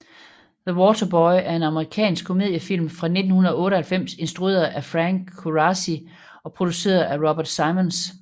The Waterboy er en amerikansk komediefilm fra 1998 instrueret af Frank Coraci og produceret af Robert Simonds